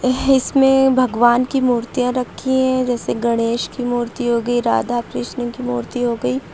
है इसमें भगवान की मूर्तियां रखी हैं जैसे गणेश की मूर्ति हो गई राधा कृष्ण की मूर्ति हो गई।